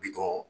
Bitɔn